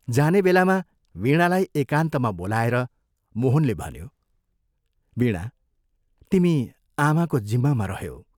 जाने बेलामा वीणालाई एकान्तमा बोलाएर मोहनले भन्यो, "वीणा तिमी आमाको जिम्मामा रह्यौ।